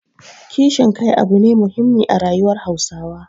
Kishin kai abu ne muhimmi a rayuwar Hausawa.